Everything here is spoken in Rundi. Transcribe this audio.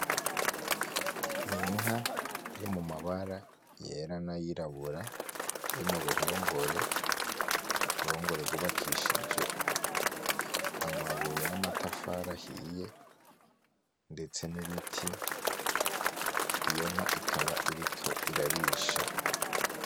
Ninka iri mumabara yera nayirabura iri muruhongore, uruhongore rwubakishije amabuye n'amatafari ahiye ndetse n'ibiti iyo nka ikaba iriko irarisha.